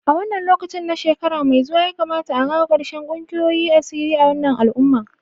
A wannan lokaci na shekara mai zuwa ya kamata a kawo karshen kungiyoyin asiri a wannan al'umma